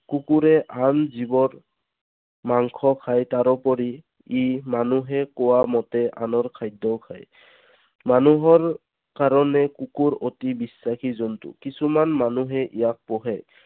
কুকুৰে আন জীৱৰ মাংস খায়। তাৰোপৰি ই মানুহে কোৱা মতে আনৰ খাদ্যও খায়। মানুহৰ কাৰণে কুকুৰ অতি বিশ্বাসী জন্তু। কিছুমান মানুহে ইয়াক পোহে।